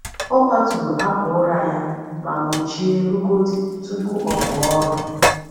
Ọ kwaturu akwa ụra ya ma kpọchie rugodi tupu o pụọ ọrụ.